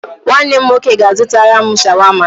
Nwanne m nwoke ga-azụtara m Shawama.